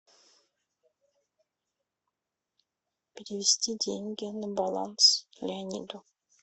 перевести деньги на баланс леониду